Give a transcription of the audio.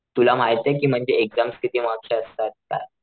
तुला माहितेय कि म्हणजे एक्साम्स किती मार्क्स च्या असतात त्या?